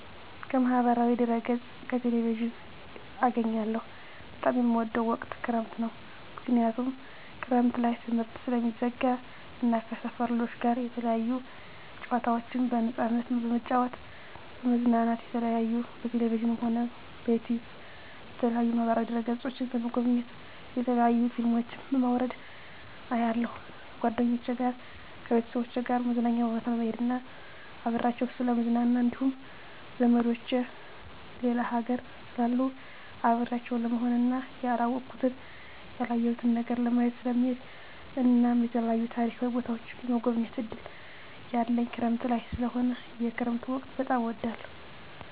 ከማህበራዊ ድህረገፅ ከቴሌቪዥን አገኛለሁ በጣም የምወደዉ ወቅት ክረምት ነዉ ምክንያቱም ክረምት ላይ ትምህርት ስለሚዘጋ እና ከሰፈር ልጆች ጋር የተለያዩ ጨዋታዎችን በነፃነት በመጫወት በመዝናናት የተለያዩ በቴሌቪዥንም ሆነ በዩቱዩብ በተለያዩ ማህበራዋ ድህረ ገፆችን በመጎብኘት የተለያዩ ፊልሞችን በማዉረድ አያለሁ ከጓደኞቸ ጋር ከቤተሰቦቸ ጋር መዝናኛ ቦታ በመሄድና አብሬያቸዉ ስለምዝናና እንዲሁም ዘመዶቸ ሌላ ሀገር ስላሉ አብሬያቸው ለመሆንና ያላወኩትን ያላየሁትን ሀገር ለማየት ስለምሄድ እናም የተለያዩ ታሪካዊ ቦታዎችን የመጎብኘት እድል ያለኝ ክረምት ላይ ስለሆነ የክረምት ወቅት በጣም እወዳለሁ